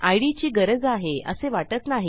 इद ची गरज आहे असे वाटत नाही